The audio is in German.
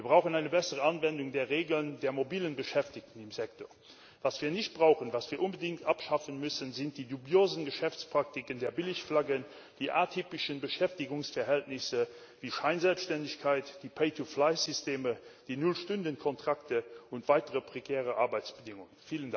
Wir brauchen eine bessere Anwendung der Regeln der mobilen Beschäftigten im Sektor. Was wir nicht brauchen, was wir unbedingt abschaffen müssen, sind die dubiosen Geschäftspraktiken der Billigflaggen, die atypischen Beschäftigungsverhältnisse, die Scheinselbständigkeit, die Systeme, die Null Stunden Kontrakte und weitere prekäre Arbeitsbedingungen.